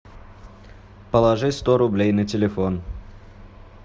положи сто рублей на телефон